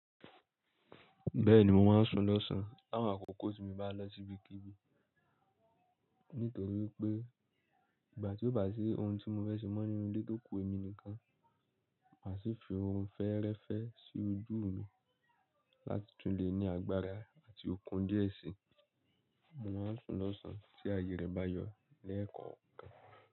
Bẹ́ẹ̀ni, mò máa ń sùn lọ́sàn láwọn àkókò tí mo bá lọ sí ibikíbi, nítorí pé ìgbà tí ó bá sì ohun tí mo fẹ́ ṣe mọ́ nínú ilé tó kú èmi nìkan, màá sì fi orun fẹ́ẹ́rẹ́fẹ́ sí ojú mi láti tún le ní agbára àti okun díẹ̀ síi. Mò ń sùn lọ́sàn tí àyè rẹ bá yọ lẹ́ẹ̀kan kàn.